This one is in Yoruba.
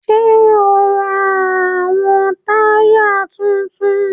Ṣe o n rá awọn taya títún?